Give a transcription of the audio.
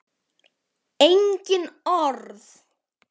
Engin orð.